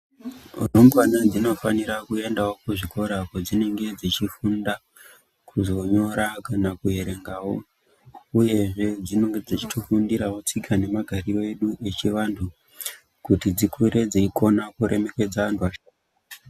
Rumbwana dzinofana kuendawo kuzvikora kwadzinenge dzichifunda kuzonyora kana kuerengawo uyezve dzinenge dzichitofundirawo tsika nemagariro edu echivanhu kuti dzikure dzeikona kuremekedza antu asharukwa.